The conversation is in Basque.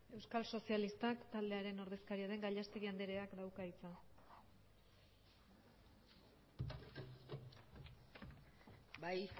euskal sozialistak taldearen ordezkaria den gallastegui andreak dauka hitza bai